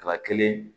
Kaba kelen